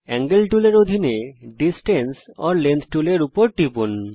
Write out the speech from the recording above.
angle টুলের অধীনে distance or length টুলের উপর টিপুন